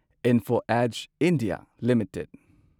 Info Edge India limited